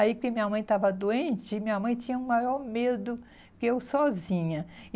Aí que minha mãe estava doente, e minha mãe tinha o maior medo que eu sozinha.